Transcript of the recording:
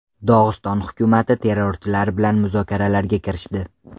Dog‘iston hukumati terrorchilar bilan muzokaralarga kirishdi.